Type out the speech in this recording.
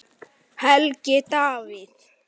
Helgi Davíð.